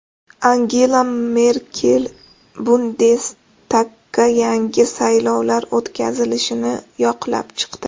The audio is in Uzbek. Angela Merkel bundestagga yangi saylovlar o‘tkazilishini yoqlab chiqdi.